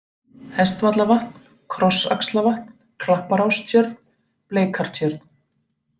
Hestvallavatn, Krossaxlavatn, Klapparástjörn, Bleikartjörn